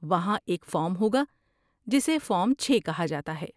وہاں ایک فارم ہوگا جسے فارم چھے کہا جاتا ہے